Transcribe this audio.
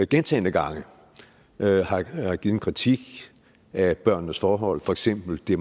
gentagne gange har givet en kritik af børnenes forhold for eksempel det